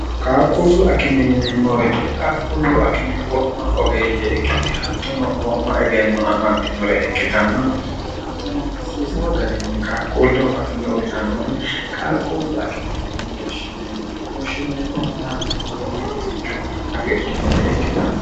qaaqquullu akime yineemmohite qaaqquullu akime wo'ma ogeeyye ikkiti hattono wo'ma egenno amaddinore ikkitanna hattono hasiisa garinni qaaqquullehu akime uyitannore qaaqquullu akime yini woshshineemmo woshshineemmohuma hattono wo'ma rosicho afidhinore ikkitanno